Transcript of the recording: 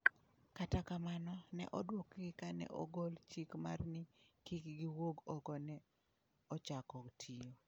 Kata kamano, ne odwokgi kane ogol chik mar ni kik giwuog oko ne ochako tiyo.